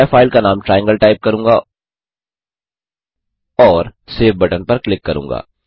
मैं फ़ाइल का नाम ट्रायंगल टाइप करूँगा और सेव बटन पर क्लिक करूँगा